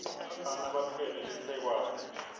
bafana batfwele lisekwane